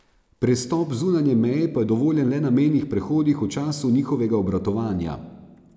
Prestop zunanje meje pa je dovoljen le na mejnih prehodih v času njihovega obratovanja.